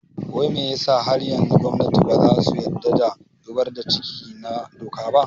Wai me yasa har yanzu gwamnati baza su yadda da zubar da ciki na doka ba?